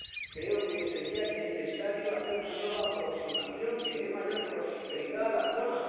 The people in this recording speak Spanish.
Creo que sería necesario hacer una nueva aproximación que dé mayor prosperidad a la zona.